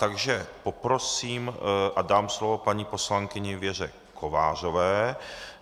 Takže poprosím a dám slovo paní poslankyni Věře Kovářové.